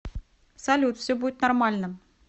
салют все будет нормально